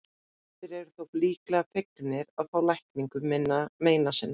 Flestir eru þó líklega fegnir að fá lækningu meina sinna.